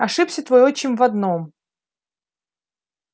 ошибся твой отчим в одном